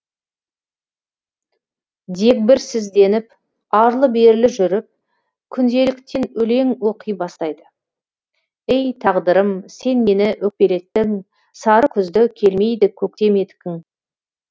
дегбірсізденіп арлы берлі жүріп күнделіктен өлең оқи бастайды ей тағдырым сен мені өкпелеттің сары күзді келмейді көктем еткің